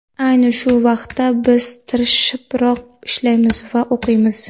Ayni shu vaqtda biz tirishibroq ishlaymiz va o‘qiymiz.